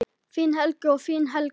Þinn Helgi og þín Helga.